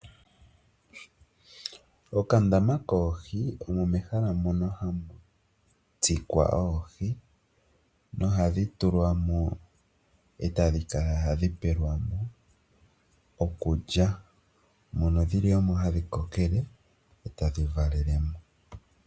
Okandama koohi omo mehala mono hamu tsikwa oohi nohadhi tulwamo e tadhi kala hadhi pelwa mo okulya, mono dhili omo hadhi kokele e tadhi valele mo.